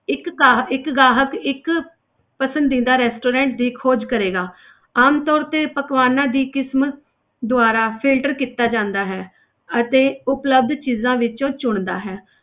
ਇੱਕ ਗਾਹਕ ਇੱਕ ਗਾਹਕ ਇੱਕ ਪਸੰਦੀਦਾ restaurant ਦੀ ਖੋਜ ਕਰੇਗਾ ਆਮਤੌਰ ਤੇ ਪਕਵਾਨਾਂ ਦੀ ਕਿਸਮ ਦੁਆਰਾ filter ਕੀਤਾ ਜਾਂਦਾ ਹੈ ਅਤੇ ਉਪਲਬਧ ਚੀਜ਼ਾਂ ਵਿੱਚੋਂ ਚੁਣਦਾ ਹੈ।